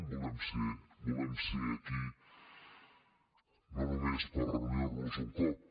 volem ser aquí no només per reunir nos un cop